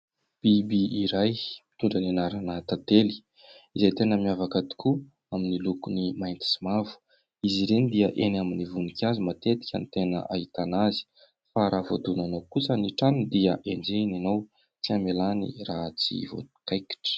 Biby iray mitondra ny anarana tantely, izay tena miavaka tokoa amin'ny lokony mainty sy mavo. Izy ireny dia eny amin'ny voninkazo matetika no ahitana azy. Fa raha voadonanao kosa ny tranony dia enjehiny ianao, tsy hamelany raha tsy voakaikitra.